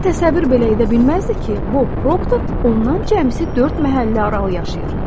Cin təsəvvür belə edə bilməzdi ki, Bob Proctor ondan cəmisi dörd məhəllə aralı yaşayır.